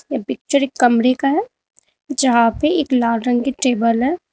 ये पिक्चर एक कमरे का है जहां पे एक लाल रंग की टेबल है।